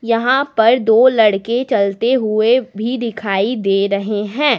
यहां पर दो लड़के चलते हुए भी दिखाई दे रहे हैं।